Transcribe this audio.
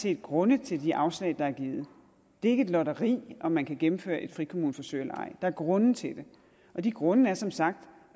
er grunde til de afslag der er givet det er ikke et lotteri om man kan gennemføre et frikommuneforsøg eller ej der er grunde til det og de grunde er som sagt